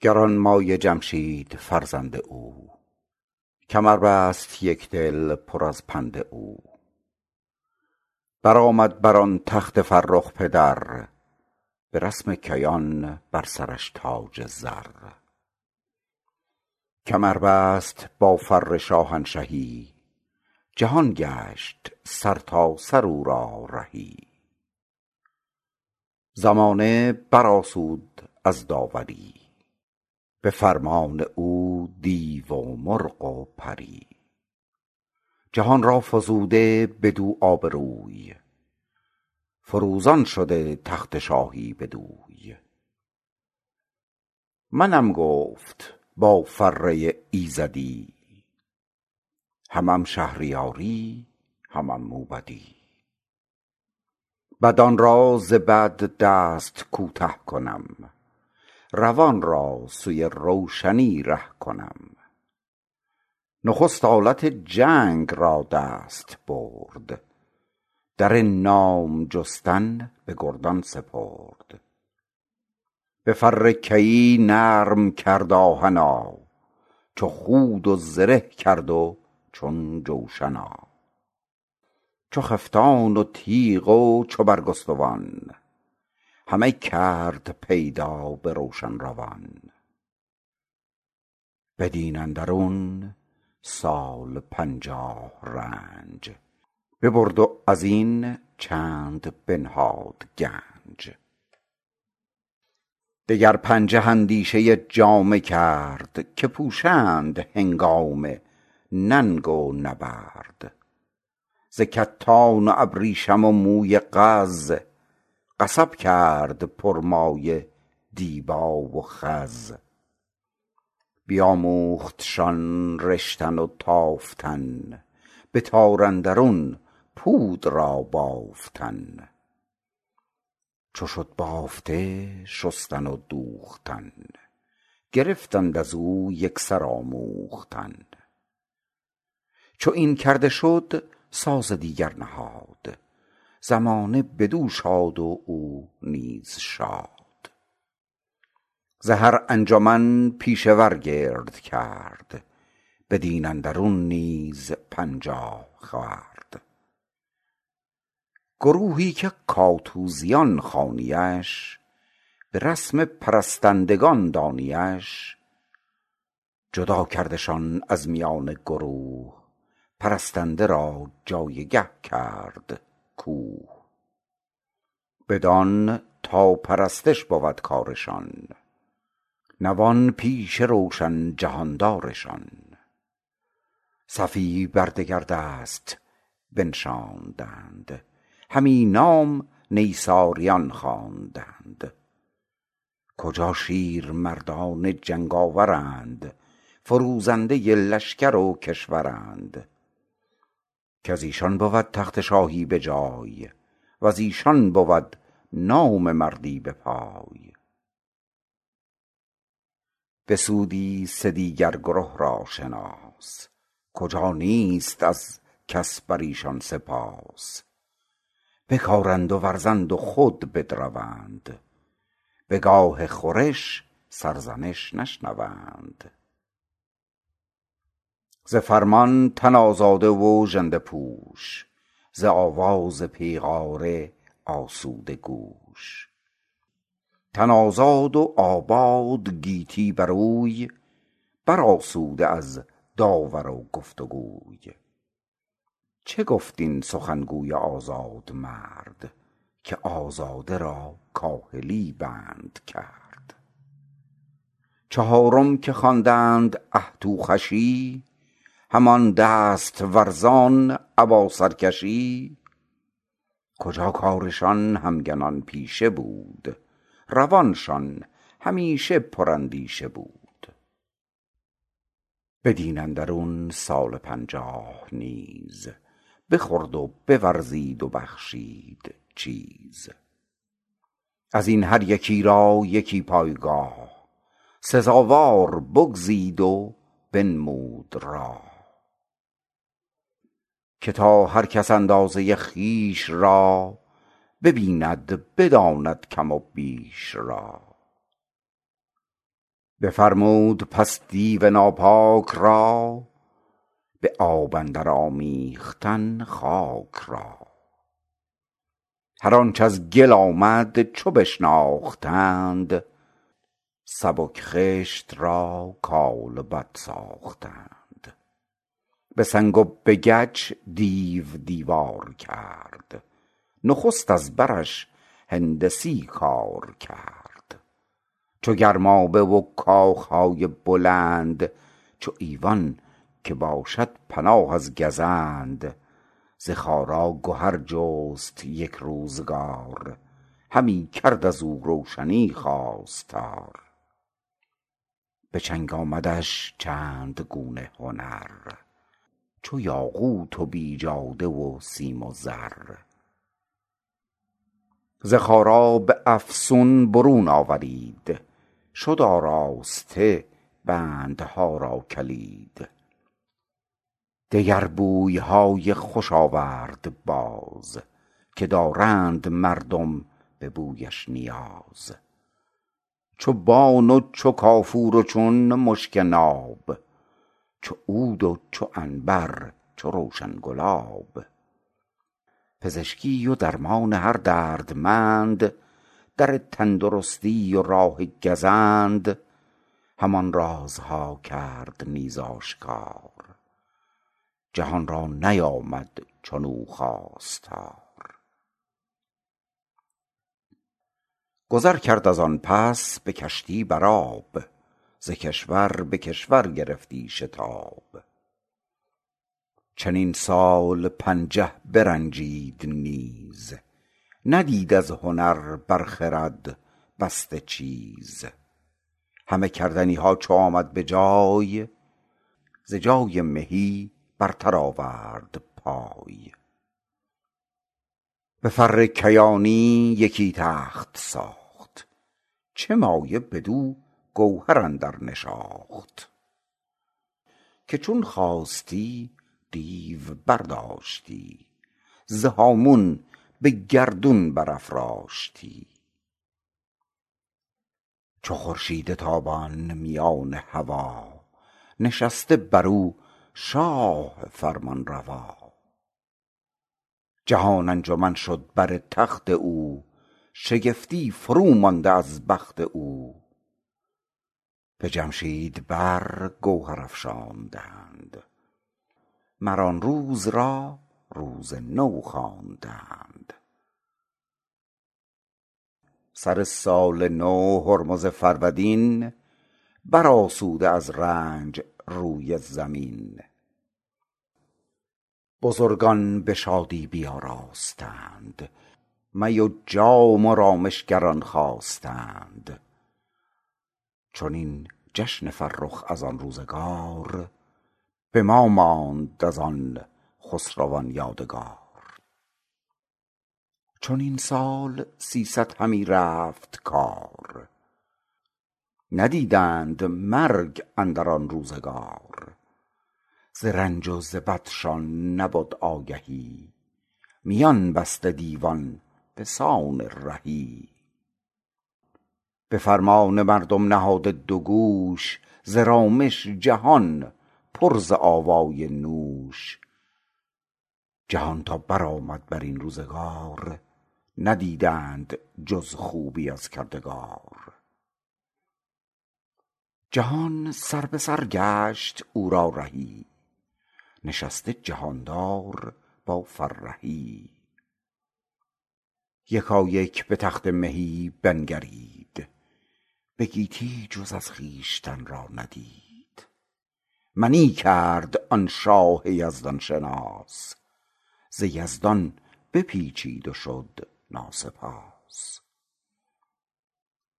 گرانمایه جمشید فرزند او کمر بست یک دل پر از پند او برآمد بر آن تخت فرخ پدر به رسم کیان بر سرش تاج زر کمر بست با فر شاهنشهی جهان گشت سرتاسر او را رهی زمانه بر آسود از داوری به فرمان او دیو و مرغ و پری جهان را فزوده بدو آبروی فروزان شده تخت شاهی بدوی منم گفت با فره ایزدی همم شهریاری همم موبدی بدان را ز بد دست کوته کنم روان را سوی روشنی ره کنم نخست آلت جنگ را دست برد در نام جستن به گردان سپرد به فر کیی نرم کرد آهنا چو خود و زره کرد و چون جوشنا چو خفتان و تیغ و چو برگستوان همه کرد پیدا به روشن روان بدین اندرون سال پنجاه رنج ببرد و از این چند بنهاد گنج دگر پنجه اندیشه جامه کرد که پوشند هنگام ننگ و نبرد ز کتان و ابریشم و موی قز قصب کرد پر مایه دیبا و خز بیاموختشان رشتن و تافتن به تار اندرون پود را بافتن چو شد بافته شستن و دوختن گرفتند از او یک سر آموختن چو این کرده شد ساز دیگر نهاد زمانه بدو شاد و او نیز شاد ز هر انجمن پیشه ور گرد کرد بدین اندرون نیز پنجاه خورد گروهی که کاتوزیان خوانی اش به رسم پرستندگان دانی اش جدا کردشان از میان گروه پرستنده را جایگه کرد کوه بدان تا پرستش بود کارشان نوان پیش روشن جهاندارشان صفی بر دگر دست بنشاندند همی نام نیساریان خواندند کجا شیر مردان جنگ آورند فروزنده لشکر و کشورند کز ایشان بود تخت شاهی به جای و ز ایشان بود نام مردی به پای بسودی سه دیگر گره را شناس کجا نیست از کس بر ایشان سپاس بکارند و ورزند و خود بدروند به گاه خورش سرزنش نشنوند ز فرمان تن آزاده و ژنده پوش ز آواز پیغاره آسوده گوش تن آزاد و آباد گیتی بر اوی بر آسوده از داور و گفتگوی چه گفت آن سخن گوی آزاده مرد که آزاده را کاهلی بنده کرد چهارم که خوانند اهتوخوشی همان دست ورزان ابا سرکشی کجا کارشان همگنان پیشه بود روانشان همیشه پر اندیشه بود بدین اندرون سال پنجاه نیز بخورد و بورزید و بخشید چیز از این هر یکی را یکی پایگاه سزاوار بگزید و بنمود راه که تا هر کس اندازه خویش را ببیند بداند کم و بیش را بفرمود پس دیو ناپاک را به آب اندر آمیختن خاک را هر آنچ از گل آمد چو بشناختند سبک خشت را کالبد ساختند به سنگ و به گچ دیو دیوار کرد نخست از برش هندسی کار کرد چو گرمابه و کاخ های بلند چو ایوان که باشد پناه از گزند ز خارا گهر جست یک روزگار همی کرد از او روشنی خواستار به چنگ آمدش چند گونه گهر چو یاقوت و بیجاده و سیم و زر ز خارا به افسون برون آورید شد آراسته بندها را کلید دگر بوی های خوش آورد باز که دارند مردم به بویش نیاز چو بان و چو کافور و چون مشک ناب چو عود و چو عنبر چو روشن گلاب پزشکی و درمان هر دردمند در تندرستی و راه گزند همان رازها کرد نیز آشکار جهان را نیامد چنو خواستار گذر کرد از آن پس به کشتی بر آب ز کشور به کشور گرفتی شتاب چنین سال پنجه برنجید نیز ندید از هنر بر خرد بسته چیز همه کردنی ها چو آمد به جای ز جای مهی برتر آورد پای به فر کیانی یکی تخت ساخت چه مایه بدو گوهر اندر نشاخت که چون خواستی دیو برداشتی ز هامون به گردون برافراشتی چو خورشید تابان میان هوا نشسته بر او شاه فرمانروا جهان انجمن شد بر آن تخت او شگفتی فرومانده از بخت او به جمشید بر گوهر افشاندند مر آن روز را روز نو خواندند سر سال نو هرمز فرودین بر آسوده از رنج روی زمین بزرگان به شادی بیاراستند می و جام و رامشگران خواستند چنین جشن فرخ از آن روزگار به ما ماند از آن خسروان یادگار چنین سال سیصد همی رفت کار ندیدند مرگ اندر آن روزگار ز رنج و ز بدشان نبد آگهی میان بسته دیوان به سان رهی به فرمان مردم نهاده دو گوش ز رامش جهان پر ز آوای نوش چنین تا بر آمد بر این روزگار ندیدند جز خوبی از کردگار جهان سربه سر گشت او را رهی نشسته جهاندار با فرهی یکایک به تخت مهی بنگرید به گیتی جز از خویشتن را ندید منی کرد آن شاه یزدان شناس ز یزدان بپیچید و شد ناسپاس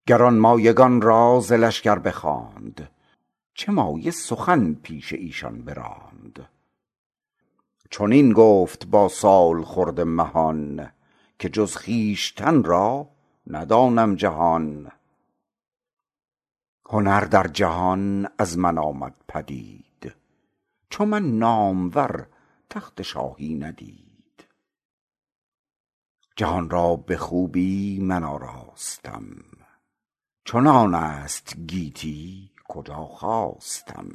گرانمایگان را ز لشگر بخواند چه مایه سخن پیش ایشان براند چنین گفت با سالخورده مهان که جز خویشتن را ندانم جهان هنر در جهان از من آمد پدید چو من نامور تخت شاهی ندید جهان را به خوبی من آراستم چنان است گیتی کجا خواستم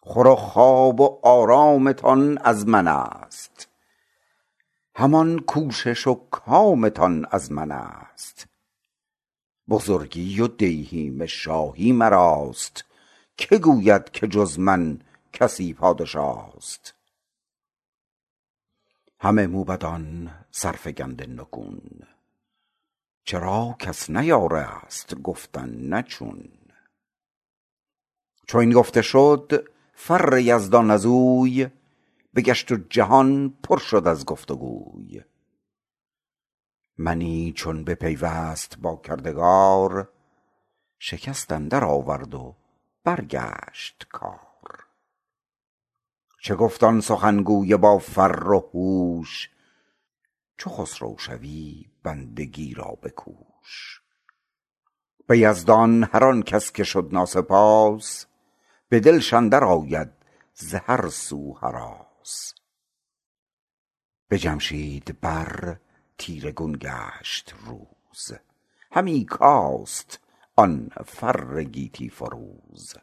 خور و خواب و آرامتان از من است همان کوشش و کامتان از من است بزرگی و دیهیم شاهی مراست که گوید که جز من کسی پادشاست همه موبدان سرفگنده نگون چرا کس نیارست گفتن نه چون چو این گفته شد فر یزدان از اوی بگشت و جهان شد پر از گفت وگوی منی چون بپیوست با کردگار شکست اندر آورد و برگشت کار چه گفت آن سخن گوی با فر و هوش چو خسرو شوی بندگی را بکوش به یزدان هر آن کس که شد ناسپاس به دلش اندر آید ز هر سو هراس به جمشید بر تیره گون گشت روز همی کاست آن فر گیتی فروز